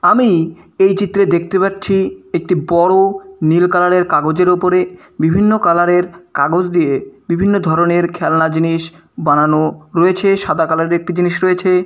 আমি এই চিত্রে দেখতে পাচ্ছি একটি বড়ো নীল কালার -এর কাগজের উপরে বিভিন্ন কালার -এর কাগজ দিয়ে বিভিন্ন ধরনের খেলনা জিনিস বানানো রয়েছে। সাদা কালার -এর একটি জিনিস রয়েছে।